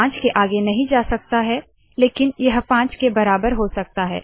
आई पाँच के आगे नहीं जा सकते हाँ लेकिन यह पाँच के बराबर हो सकता है